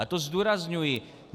A to zdůrazňuji.